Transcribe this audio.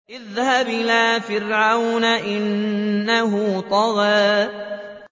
اذْهَبْ إِلَىٰ فِرْعَوْنَ إِنَّهُ طَغَىٰ